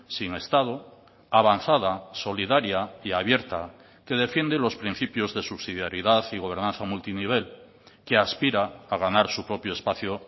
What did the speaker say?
sin estado avanzada solidaria y abierta que defiende los principios de subsidiaridad y gobernanza multinivel que aspira a ganar su propio espacio